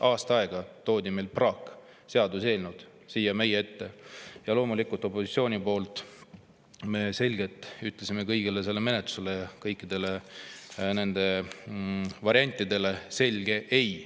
Aasta aega toodi praakseaduseelnõusid siia meie ette ja loomulikult me opositsiooni poolt ütlesime nende menetlusele, kõikidele nendele variantidele selgelt ei.